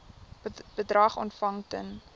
bedrag ontvang ten